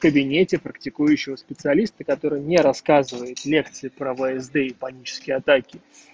в кабинете практикующего специалиста который не рассказывает лекции про всд и панические атаки